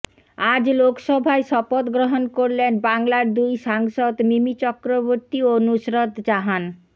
আজ লোকসভায় শপথ গ্রহণ করলেন বাংলার দুই সাংসদ মিমি চক্রবর্তী ও নুসরত জাহান